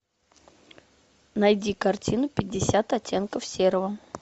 найди картину пятьдесят оттенков серого